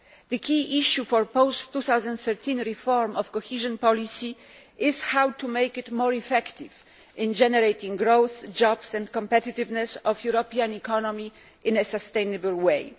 The key issue for post 2013 reform of cohesion policy is how to make it more effective in generating growth, jobs and competitiveness for the European economy in a sustainable way.